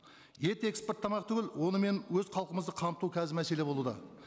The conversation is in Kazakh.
ет экспорттамақ түгіл онымен өз халқымызды қамту қазір мәселе болуда